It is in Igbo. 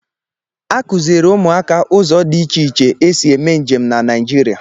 A kụziiri ụmụaka ụzọ dị iche iche esi eme njem na Naịjirịa.